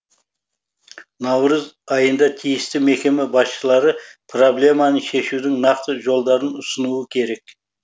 наурыз айында тиісті мекеме басшылары проблеманы шешудің нақты жолдарын ұсынуы керек